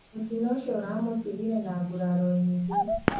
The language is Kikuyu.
Mutino ucio uramutigire na nguraro nyingi